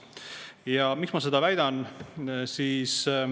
Ja miks ma seda väidan?